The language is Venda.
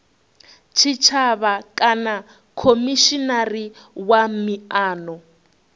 tshitshavha kana khomishinari wa miano